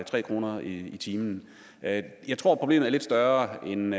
tre kroner i timen jeg tror problemet er lidt større end